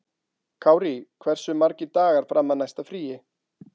Kárí, hversu margir dagar fram að næsta fríi?